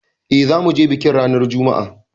Eh zamuje bikin ranar Juma'a